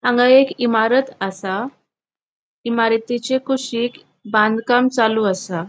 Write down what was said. हांगा एक इमारत आसा इमारतीचे कुशिक बांधकाम चालू आसा.